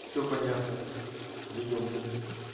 всё понятно вы ёбнулись